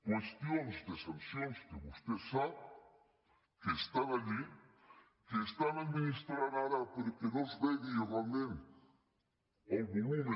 qüestions de sancions que vostè sap que estan allí que estan administrant ara perquè no se’n vegi realment el volum